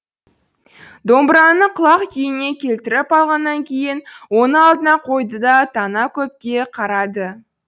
домбыраны құлақ күйіне келтіріп алғаннан кейін оны алдына қойды да тана көпке қарады